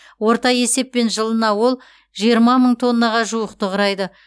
орта есеппен жылына ол жиырма мың тоннаға жуықты құрайды